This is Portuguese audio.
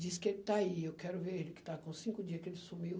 Disse que ele está aí, eu quero ver ele, que está com cinco dias que ele sumiu.